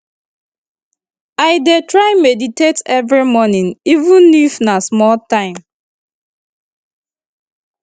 i dey try meditate every morning even if na small time